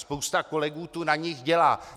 Spousta kolegů tu na nich dělá.